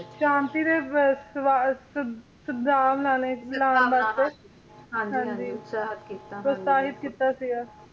ਸ਼ਾਂਤੀ ਤੇ ਸਵਾ ਸਿੱਧ ਸੰਭਾਵਨਾਵਾਂ ਪ੍ਰੋਤਸਾਹਿਤ ਕੀਤਾ ਸੀਗਾ